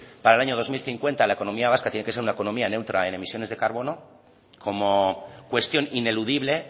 para el año dos mil cincuenta la economía vasca tiene que ser una economía neutra en emisiones de carbono como cuestión ineludible